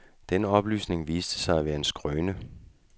Den oplysning viste sig at være en skrøne.